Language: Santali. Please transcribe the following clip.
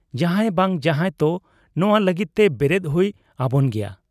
ᱡᱟᱦᱟᱸᱭ ᱵᱟᱝ ᱡᱟᱦᱟᱸᱭ ᱛᱚ ᱱᱚᱣᱟ ᱞᱟᱹᱜᱤᱫ ᱛᱮ ᱵᱮᱨᱮᱫ ᱦᱩᱭ ᱟᱵᱚᱱ ᱜᱮᱭᱟ ᱾'